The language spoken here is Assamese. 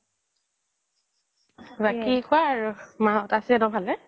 বাকী কোৱা আৰু মা হত আছে ন ভালে